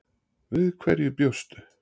Við hverju bjóstu?